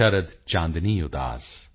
ਸ਼ਰਦ ਚਾਂਦਨੀ ਉਦਾਸ